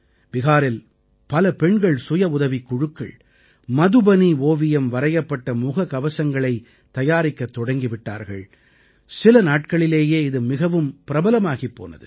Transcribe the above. பிஹாரில் பல பெண்கள் சுயஉதவிக் குழுக்கள் மதுபனி ஓவியம் வரையப்பட்ட முகக்கவசங்களைத் தயாரிக்கத் தொடங்கி விட்டார்கள் சில நாட்களிலேயே இது மிகவும் பிரபலமாகிப் போனது